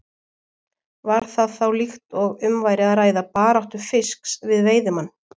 Var það þá líkt og um væri að ræða baráttu fisks við veiðimann.